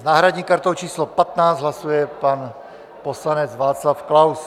S náhradní kartou číslo 15 hlasuje pan poslanec Václav Klaus.